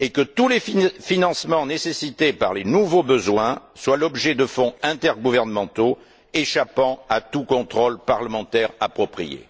et que tous les financements nécessités par les nouveaux besoins soient l'objet de fonds intergouvernementaux, échappant à tout contrôle parlementaire approprié.